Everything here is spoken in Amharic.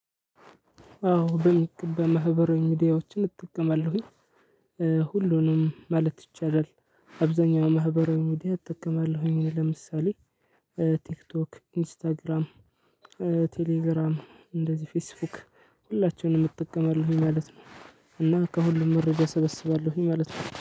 አዎ በሚገባ ማህበራዊ ሚዲያዎችን እጠቀማለሁኝ ሁሉንም ማለት ይቻላል። አብዛኛውን ማህበራዊ ሚዲያ እጠቀማለሁኝ ለምሳሌ ቲክቶክ ኢንስታግራም ቴሌግራም እንደዚህ ፌስቡክ ሁላቸውንም እጠቀማለሁኝ። ማለት ነው። እና ከሁሉም መረጃ እሰበስባለሁኝ ማለት ነው